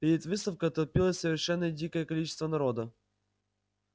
перед выставкой толпилось совершенно дикое количество народа